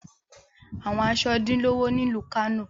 Awọn aṣọ din lowo ni ilu Kano